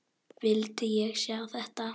Vildi ég sjá þetta?